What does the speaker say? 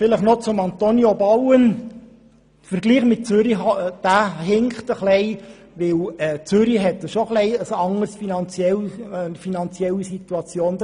Noch zu Antonio Bauen: Der Vergleich mit Zürich hinkt, weil Zürich doch eine etwas andere finanzielle Situation hat.